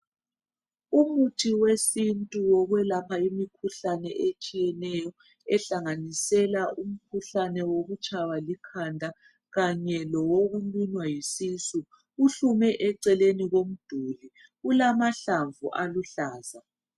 Umuthi wesintu wokwelapha imkhuhlane etshiyeneyo ehlanganisela umkhuhlane wokutshaywa likhanda kanye lowokulunywa yisisu uhlume eceleni komduli ulamahlamvu aluhlaza